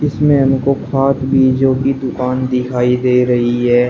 इसमें हमको खाद बीजों की दुकान दिखाई दे रही है।